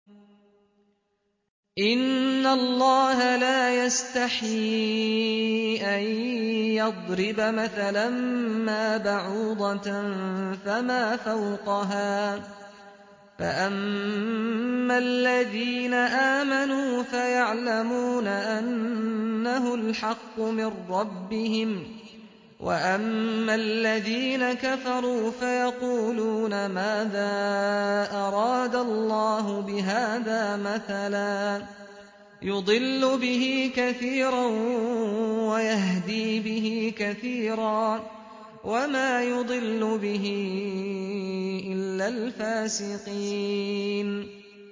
۞ إِنَّ اللَّهَ لَا يَسْتَحْيِي أَن يَضْرِبَ مَثَلًا مَّا بَعُوضَةً فَمَا فَوْقَهَا ۚ فَأَمَّا الَّذِينَ آمَنُوا فَيَعْلَمُونَ أَنَّهُ الْحَقُّ مِن رَّبِّهِمْ ۖ وَأَمَّا الَّذِينَ كَفَرُوا فَيَقُولُونَ مَاذَا أَرَادَ اللَّهُ بِهَٰذَا مَثَلًا ۘ يُضِلُّ بِهِ كَثِيرًا وَيَهْدِي بِهِ كَثِيرًا ۚ وَمَا يُضِلُّ بِهِ إِلَّا الْفَاسِقِينَ